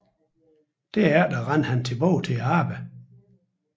Derefter løb han tilbage til arbejdet